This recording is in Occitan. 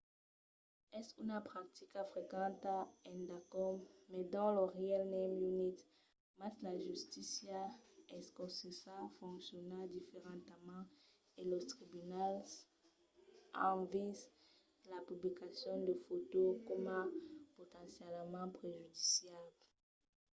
es una practica frequenta endacòm mai dins lo reialme unit mas la justícia escocesa fonciona diferentament e los tribunals an vist la publicacion de fòtos coma potencialament prejudiciable